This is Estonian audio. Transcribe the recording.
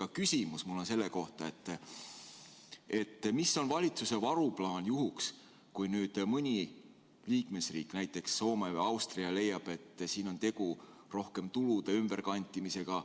Aga küsimus on mul selle kohta, mis on valitsuse varuplaan juhuks, kui nüüd mõni liikmesriik, näiteks Soome või Austria, leiab, et siin on tegu rohkem tulude ümberkantimisega